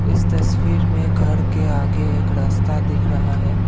इस तस्वीर में घर के आगे एक रास्ता दिख रहा है।